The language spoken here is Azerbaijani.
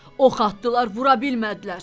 Ox atdılar, vura bilmədilər.